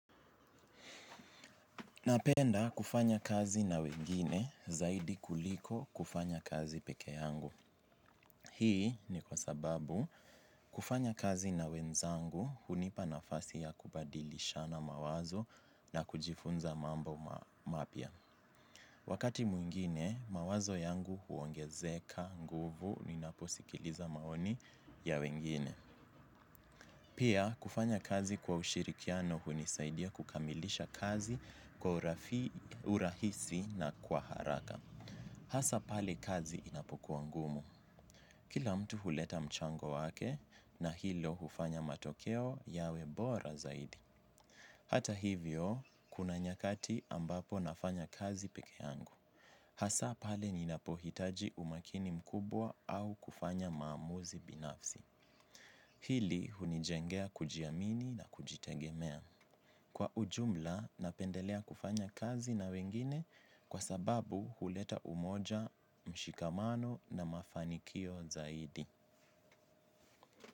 Napenda kufanya kazi na wengine zaidi kuliko kufanya kazi peke yangu. Hii ni kwa sababu kufanya kazi na wenzangu hunipa nafasi ya kubadilishana mawazo na kujifunza mambo mapya. Wakati mwingine mawazo yangu huongezeka nguvu ninaposikiliza maoni ya wengine. Pia, kufanya kazi kwa ushirikiano hunisaidia kukamilisha kazi kwa urahisi na kwa haraka. Hasa pale kazi inapokuwa ngumu. Kila mtu huleta mchango wake na hilo hufanya matokeo yawe bora zaidi. Hata hivyo, kuna nyakati ambapo nafanya kazi peke yangu. Hasa pale ninapohitaji umakini mkubwa au kufanya maamuzi binafsi. Hili hunijengea kujiamini na kujitegemea. Kwa ujumla napendelea kufanya kazi na wengine kwa sababu huleta umoja mshikamano na mafanikio zaidi.